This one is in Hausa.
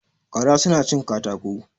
Gara su na cin katako